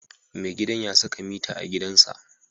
Mai gidan ya saka mita a gidansa.